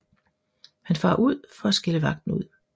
Han farer ud for at skælde vagten ud